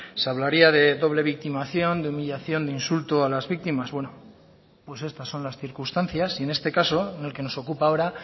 se hablaría de doble victimación de humillación de insulto a las víctimas bueno pues estas son las circunstancias y en este caso en el que nos ocupa ahora